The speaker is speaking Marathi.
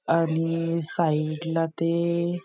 आणि साइड ला ते--